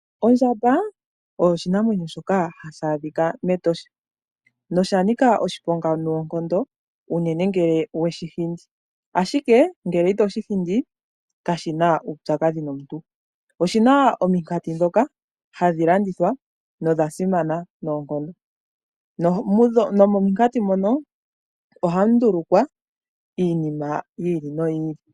Ondjamba oyo oshinamwenyo shoka hashi adhika mEtosha nosha nika oshiponga noonkondo unene ngele we shi hindi, ashike ngele ito shi hindi kashi na uupyakadhi nomuntu. Oshi na omayego ngoka haga landithwa nogasimana noonkondo. Momayego moka ohamu ndulukwa iinima yi ili noyi ili.